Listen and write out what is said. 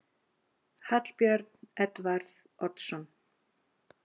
Hallbjörn Edvarð Oddsson